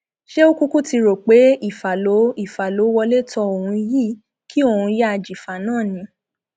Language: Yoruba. ṣé ó kúkú ti rò pé ìfà ló ìfà ló wọlé tọ òun yìí kí òun yáa jìfà náà ni